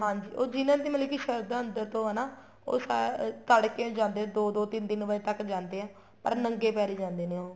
ਹਾਂਜੀ ਉਹ ਜਿੰਨਾ ਦੀ ਮਤਲਬ ਕੀ ਸਰਧਾ ਅੰਦਰ ਤੋ ਹੈ ਨਾ ਉਹ ਅਹ ਤੜਕੇ ਨੂੰ ਜਾਂਦੇ ਦੋ ਦੋ ਤਿੰਨ ਤਿੰਨ ਵਜ਼ੇ ਤੱਕ ਜਾਂਦੇ ਏ ਪਰ ਨੰਗੇ ਪੈਰੀ ਜਾਂਦੇ ਨੇ ਉਹ